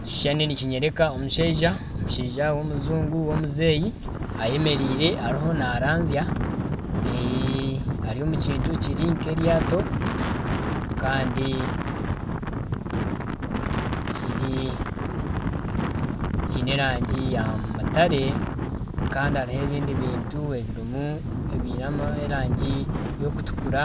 Ekishushani nikinyereka omushaija w'omujungu w'omuzeeyi ayemereire ariho naranzya. Ari omu kintu kiri nka eryaato kandi kiine erange ya mutare hariho ebindi bintu ebiine erange erikutukura .